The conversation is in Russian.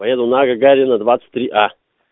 поеду на гагарина двадцать три а